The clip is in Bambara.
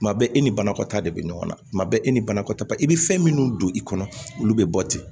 Tuma bɛɛ e ni banakɔtaa de bɛ ɲɔgɔn na kuma bɛɛ e ni banakɔtaa i bɛ fɛn minnu don i kɔnɔ olu bɛ bɔ ten